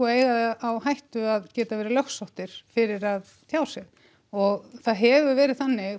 eiga það á hættu að geta verið lögsóttir fyrir að tjá sig og það hefur verið þannig